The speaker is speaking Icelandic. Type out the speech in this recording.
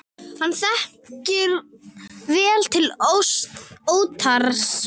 Hann þekkir vel til Óttars.